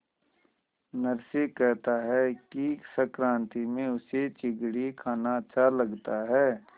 नरसी कहता है कि संक्रांति में उसे चिगडी खाना अच्छा लगता है